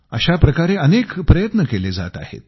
अशा प्रकारे अनेक प्रयत्न केले जात आहेत